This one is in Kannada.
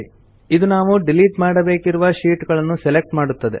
ಇದು ನಾವು ಡಿಲಿಟ್ ಮಾಡಬೇಕಿರುವ ಶೀಟ್ ಗಳನ್ನು ಸೆಲೆಕ್ಟ್ ಮಾಡುತ್ತದೆ